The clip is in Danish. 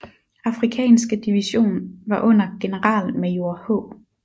Afrikanske division var under generalmajor H